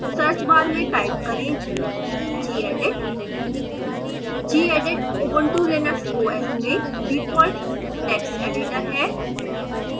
search bar में type करेंgedit gedit ubuntu linux os में default text editor है